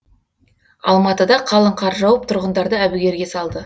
алматыда қалың қар жауып тұрғындарды әбігерге салды